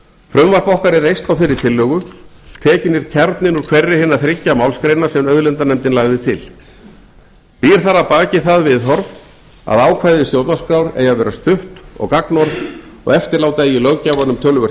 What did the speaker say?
frumvarp okkar er reist á þeirri tillögu tekinn er kjarninn úr hverri hinna þriggja málsgreina sem auðlindanefndin lagði til býr þar að baki það viðhorf að ákvæði stjórnarskrár eigi að vera stutt og gagnorð og eftirláta eigi löggjafanum töluvert